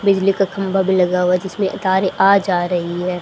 बिजली का खंबा भीं लगा हुवा हैं जिसमें तारे आ जा रहीं हैं।